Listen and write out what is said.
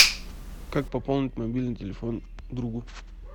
как пополнить мобильный телефон другу